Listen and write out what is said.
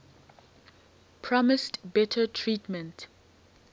promised better treatment